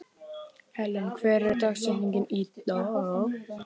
Helen, hver er dagsetningin í dag?